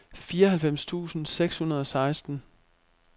fireoghalvfems tusind seks hundrede og seksten